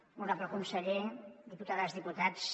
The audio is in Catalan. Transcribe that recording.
honorable conseller diputades i diputats